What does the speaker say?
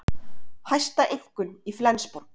Hæsta einkunn í Flensborg